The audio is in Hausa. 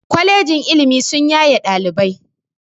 Kwalejin ilimi sun yaye ɗalibai